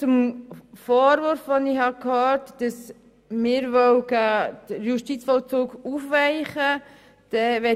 Zum Vorwurf, wonach wir den Justizvollzug aufweichen wollen: